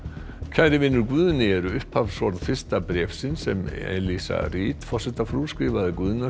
kæri vinur Guðni eru upphafsorð fyrsta bréfsins sem Reid forsetafrú skrifaði Guðna